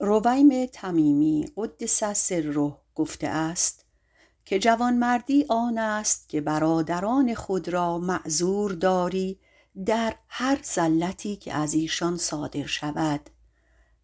رویم - قدس سره - گفته است جوانمردی آن است که برادران خود را معذور داری و بر زلتی که از ایشان واقع شود